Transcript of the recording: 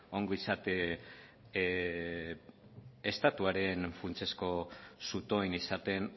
ongizate estatuaren funtsezko zutoin izaten